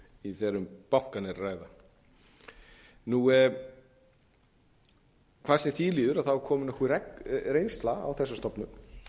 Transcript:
þegar um bankana er að ræða hvað sem því líður er komin nokkur reynsla á þessa stofnun